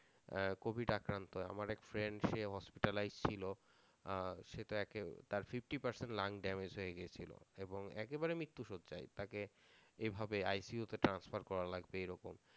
আহ covid আক্রান্ত আমার এক friend সে hospitalize ছিল আহ সে তাকে তার fifty percent lung damege হয়ে গিয়েছিলো, এবং একেবারে মৃত্যুশয্যায় তাকে এইভাবে ICU তে transfer করা লাগবে এইরকম